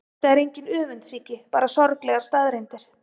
Þetta er engin öfundsýki, bara sorglegar staðreyndir.